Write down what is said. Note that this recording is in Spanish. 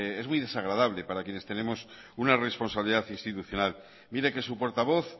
es muy desagradable para quienes tenemos una responsabilidad institucional mire que su portavoz